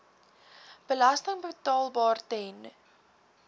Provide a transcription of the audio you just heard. belasting betaalbaar ten